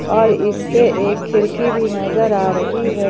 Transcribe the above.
और इस पे एक खिड़की भी नजर आ रही है।